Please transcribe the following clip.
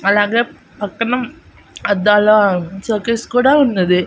అలాగే పక్కన అద్దాల సోకేస్ కూడా ఉన్నది.